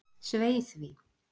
Svei því!